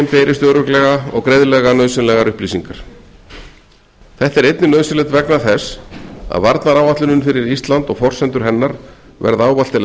berist örugglega og greiðlega nauðsynlegar upplýsingar þetta er einnig nauðsynlegt vegna þess að varnaráætlunin fyrir ísland og forsendur hennar verða ávallt til